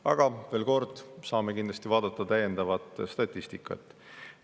Aga veel kord, me kindlasti saame täiendavat statistikat.